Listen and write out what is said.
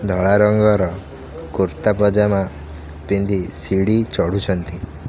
ଧଳା ରଙ୍ଗର କୁର୍ତ୍ତା ପଜାମା ପିନ୍ଧି ସିଡି ଚଢୁଛନ୍ତି।